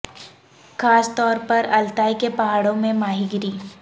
خاص طور پر التائی کے پہاڑوں میں ماہی گیری